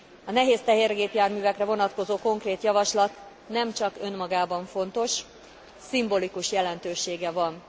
A nehéz tehergépjárművekre vonatkozó konkrét javaslat nemcsak önmagában fontos, szimbolikus jelentősége van.